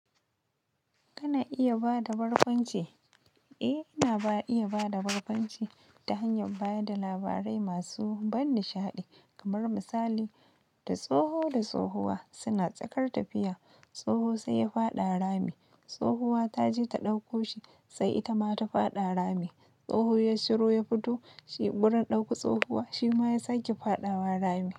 Kana iya ba da barkwanci? Eh, ina iya ba da barkwanci ta hanyar ba da labarai masu ban nishaɗi kamar misali, da tsoho da tsohuwa suna tsakar tafiya tsoho sai ya faɗa rami, tsohuwa ta je ta ɗauko shi sai ita ma ta faɗa rami, tsoho ya shiro ya fito shi gurin ɗauko tsohuwa shi ma ya sake faɗawa rami.